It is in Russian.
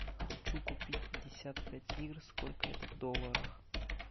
хочу купить пятьдесят пять лир сколько это в долларах